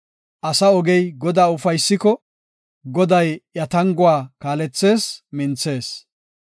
Asa ogey Godaa ufaysiko, Goday iya tanguwa kaalethees; minthees.